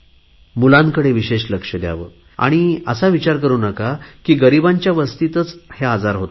मुलांकडे विशेष लक्ष द्यावे आणि आता असा विचार करु नका की गरीबांच्या वस्तीतच आजार होतात